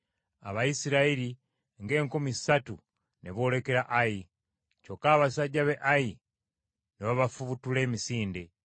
Abayisirayiri ng’enkumi ssatu ne boolekera Ayi, kyokka abasajja be Ayi ne babafubutula emisinde